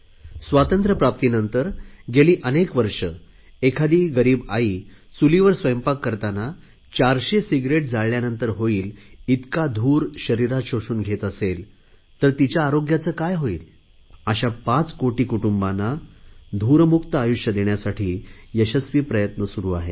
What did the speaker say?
स्वातंत्र्यप्राप्तीनंतर गेली अनेक वर्षे गरीब आई चुलीवर जेवण करुन शरीरात 400 सिगरेट जाळल्यानंतर होईल इतका धूर शरीरात शोषून घेत असेल तर तिच्या आरोग्याचे काय होईल अशा पाच कोटी कुटुंबांना धूरमुक्त आयुष्य देण्यासाठी यशस्वी प्रयत्न सुरु आहेत